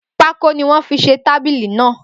Pákó ni wọ́n fi se tábìlì náà.